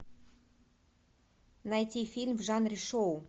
найти фильм в жанре шоу